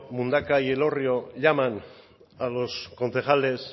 mundaka y elorrio llaman a los concejales